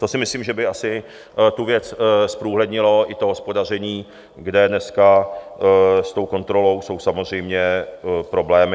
To si myslím, že by asi tu věc zprůhlednilo, i to hospodaření, kde dneska s tou kontrolou jsou samozřejmě problémy.